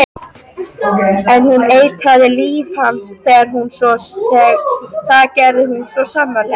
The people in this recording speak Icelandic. En hún eitraði líf hans, það gerði hún svo sannarlega.